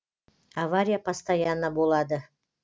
авария постоянно болады